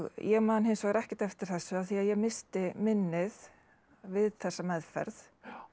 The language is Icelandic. ég man hins vegar ekkert eftir þessu af því ég missti minnið við þessa meðferð